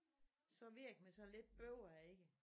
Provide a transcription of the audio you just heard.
Så virker man sådan lidt bøvet ikke